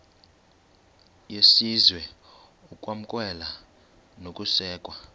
yesizwe ukwamkelwa nokusekwa